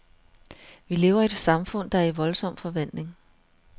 Vi lever i et samfund, der er i voldsom forvandling.